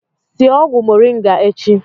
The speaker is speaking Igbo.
Sie ọgwụ moringa echi!